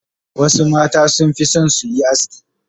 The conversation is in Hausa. Wasu mata sun fi son su yi aski.